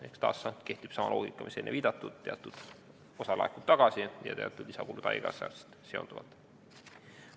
Ehk taas kehtib sama loogika, millele enne viidatud, et teatud osa laekub tagasi ja teatud lisakulud tulevad haigekassaga seonduvalt.